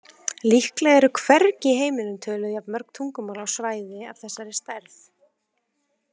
Líklega eru hvergi í heiminum töluð jafn mörg tungumál á svæði af þessari stærð.